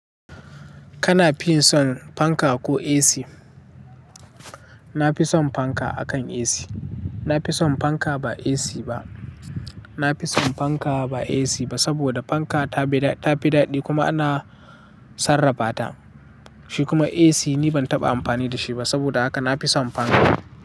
Kana fin son fanka ko AC? Na fi son fanka akan AC. Na fi son fanka ba AC ba. Na fi son fanka ba AC ba, saboda fanka ta fi daɗi kuma ana sarrafa ta, shi kuma AC ni ban taɓa amfani da shi ba. Saboda haka na fi son fanka.